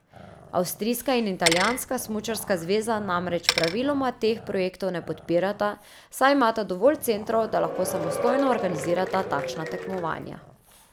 Avstrijska in italijanska smučarska zveza namreč praviloma teh projektov ne podpirata, saj imata dovolj centrov, da lahko samostojno organizirata takšna tekmovanja.